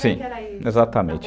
Sim, exatamente.